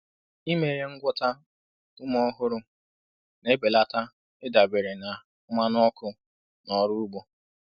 Ime ihe ngwọta ume ọhụrụ na-ebelata ịdabere na mmanụ ọkụ na ọrụ ugbo.